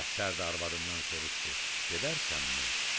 Əfsər də arvadından soruşdu: gedərsənmi?